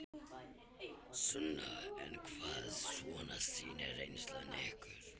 Sunna: En hvað svona sýnir reynslan ykkur?